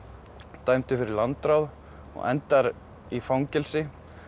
dæmdur fyrir landráð og endar í fangelsi